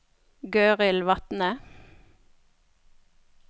Gøril Vatne